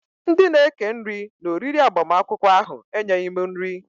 Ndị na eke nri na-oriri agbamakwụkwọ ahụ e nyeghị m nri